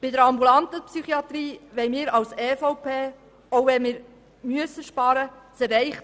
Bei der ambulanten Psychiatrie will die EVP das Erreichte nicht aufgeben, auch wenn wir sparen müssen.